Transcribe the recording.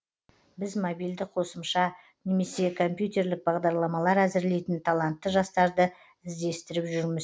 біз мобильді қосымша немесе компьтерлік бағдарламалар әзірлейтін талантты жастарды іздестіріп жүрміз